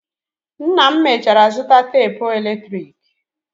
Nna m mechara zụta tapụ eletrik.